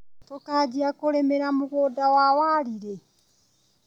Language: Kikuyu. Tũkambia kũrĩmĩra mũgũnda wa wari rĩ.